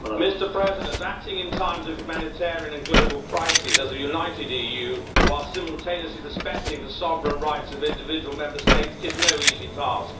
Mr President, acting in times of humanitarian and global crisis as a united EU while simultaneously respecting the sovereign rights of individual Member States is no easy task.